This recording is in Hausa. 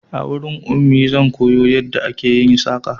A wurin Ummi zan koyo yadda ake yin saƙa